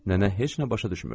Nənə heç nə başa düşmürdü.